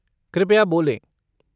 कृपया बोलें।